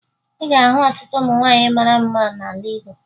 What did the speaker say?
Ị ga-ahụ ọtụtụ ụmụ nwaanyị mara mma n'ala Igbo